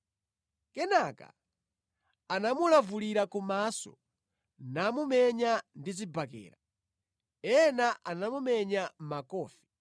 Kenaka anamulavulira kumaso namumenya ndi zibakera. Ena anamumenya makofi.